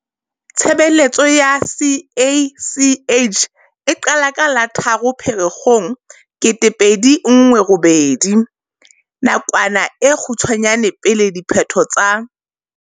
Tshebeletso ya CACH e qala ka la 3 Pherekgong 2018, nakwana e kgutshwanyane pele diphetho tsa.